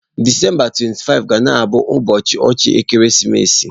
Disemba 25 ga na-abụ ụbọọchi ọchị ekeresimesi.